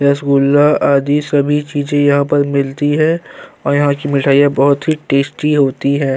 रसगुल्ला आदि सभी चीज यहाँ पर मिलती हैं और यहाँ की मिठाइयां बोहोत ही टेस्टी होती हैं।